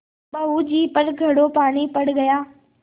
बहू जी पर घड़ों पानी पड़ गया